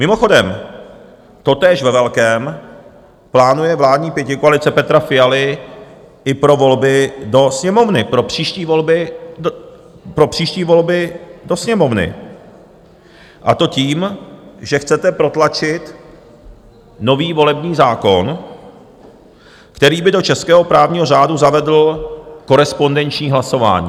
Mimochodem, totéž ve velkém plánuje vládní pětikoalice Petra Fialy i pro volby do Sněmovny, pro příští volby do Sněmovny, a to tím, že chcete protlačit nový volební zákon, který by do českého právního řádu zavedl korespondenční hlasování.